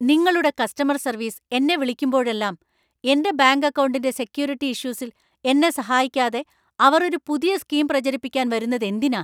നിങ്ങളുടെ customer service എന്നെ വിളിക്കുമ്പോഴെല്ലാം, എന്‍റെ ബാങ്ക് അക്കൗണ്ടിന്‍റെ സെക്യൂരിറ്റി ഇഷ്യൂസിൽ എന്നെ സഹായിക്കാതെ അവർ ഒരു പുതിയ സ്‌കീം പ്രചരിപ്പിക്കാൻ വരുന്നതെന്തിനാ?